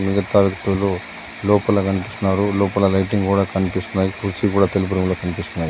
వ్యక్తులు లోపల గన్పిస్తున్నారు లోపల లైటింగ్ కూడా కన్పిస్తున్నాయి కుర్చీ కూడా తెలుపు రంగులో కన్పిస్తున్నాయి.